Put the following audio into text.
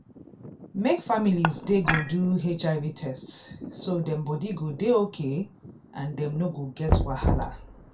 make families dey go do hiv test so dem body go dey okay and dem no go get wahala.